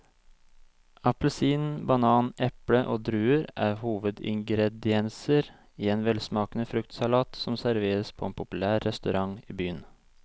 Appelsin, banan, eple og druer er hovedingredienser i en velsmakende fruktsalat som serveres på en populær restaurant i byen.